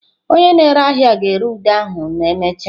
Onye na-ere ahịa ga-ere ude ahụ ma emechaa.